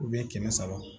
kɛmɛ saba